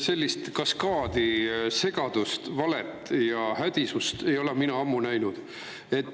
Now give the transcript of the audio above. Sellist kaskaadi segadust, valet ja hädisust ei ole mina ammu näinud.